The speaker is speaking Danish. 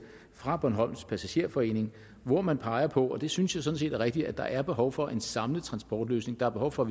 fra bornholms passagerforening hvori man peger på og det synes jeg sådan set er rigtigt at der er behov for en samlet transportløsning der er behov for